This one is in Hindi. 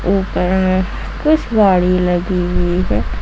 कुछ गाडी लगी हुई है।